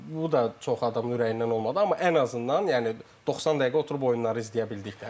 Bu da çox adamın ürəyindən olmadı, amma ən azından yəni doqsan dəqiqə oturub oyunları izləyə bildik də.